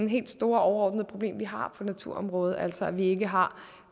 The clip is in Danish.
helt store overordnede problem vi har på naturområdet altså at vi ikke har